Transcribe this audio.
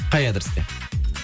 қай адресте